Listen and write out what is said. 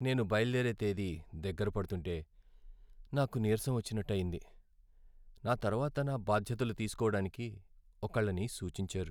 నేను బయలుదేరే తేదీ దగ్గర పడుతుంటే నాకు నీరసం వచ్చినట్టు అయింది, నా తర్వాత నా బాధ్యతలు తీస్కోవడానికి ఒకళ్ళని సూచించారు.